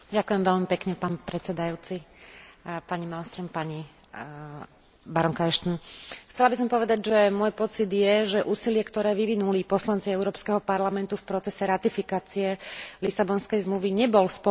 Chcela by som povedať, že môj pocit je, že úsilie, ktoré vyvinuli poslanci Európskeho parlamentu v procese ratifikácie Lisabonskej zmluvy, nebolo z pohľadu tej témy, o ktorej hovoríme teraz, primerane ocenené tým, že by ste nás boli